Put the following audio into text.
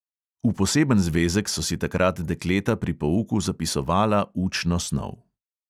V poseben zvezek so si takrat dekleta pri pouku zapisovala učno snov.